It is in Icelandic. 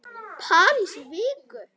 París í viku?